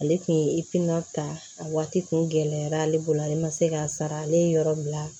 Ale tun ye ta a waati kun gɛlɛyara ale bolo ale ma se k'a sara ale ye yɔrɔ min na